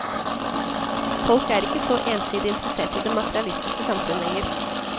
Folk er ikke så ensidig interessert i det materialistiske samfunnet lenger.